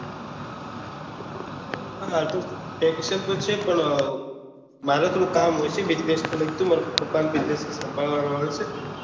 હા vacation તો છે પણ મારે થોડું કામ હોય છે businesses ને લાગતું મારે પપ્પા નો businesses સંભાળ વાનો હોય છે